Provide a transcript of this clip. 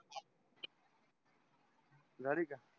जाडी का